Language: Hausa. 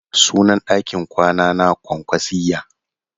Sunan ɗakin kwana na kwankwasiyya.